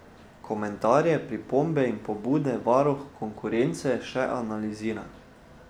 Komentarje, pripombe in pobude varuh konkurence še analizira.